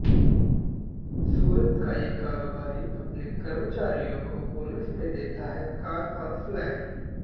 सूरत का ये कारोबारी अपने कर्मचारियों को बोनस में देता है कार और फ्लैट